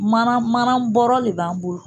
Mana mana bɔɔrɔ le b'an bolo.